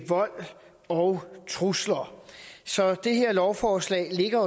vold og trusler så det her lovforslag ligger